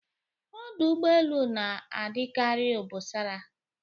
Ọdụ ụgbọelu na-adịkari obosara